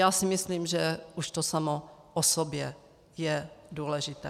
Já si myslím, že už to samo o sobě je důležité.